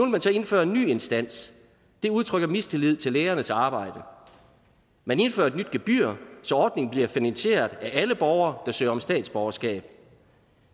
man så indføre en ny instans det udtrykker mistillid til lægernes arbejde man indfører et nyt gebyr så ordningen bliver finansieret af alle borgere der søger om statsborgerskab